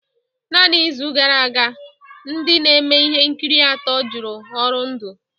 Naanị izu gara aga, ndị na-eme ihe nkiri atọ jụrụ ọrụ ndu